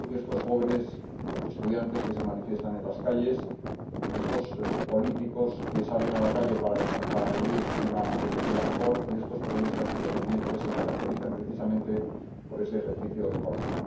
Creo que estos jóvenes estudiantes que se manifiestan en las calles, estos políticos que salen a la calle para pedir una Venezuela mejor y estos periodistas independientes se caracterizan, precisamente, por ese ejercicio de coraje.